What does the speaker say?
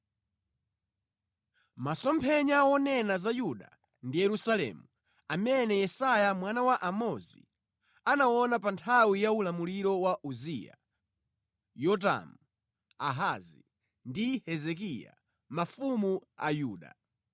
Masomphenya wonena za Yuda ndi Yerusalemu, amene Yesaya mwana wa Amozi, anaona pa nthawi ya ulamuliro wa Uziya, Yotamu, Ahazi ndi Hezekiya, mafumu a Yuda.